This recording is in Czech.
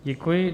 Děkuji.